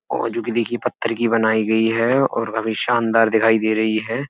और जो कि देखिए पत्थर की बनाई गई है और काफी शानदार दिखाई दे रही है।